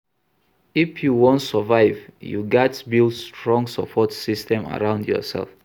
If you wan survive, you gats build strong support system around yoursef.